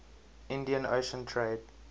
indian ocean trade